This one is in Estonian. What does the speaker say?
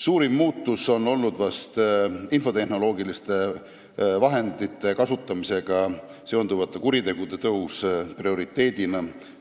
Suurim muutus on olnud vist infotehnoloogiliste vahendite kasutamisega seonduvate kuritegude tõus suhteliselt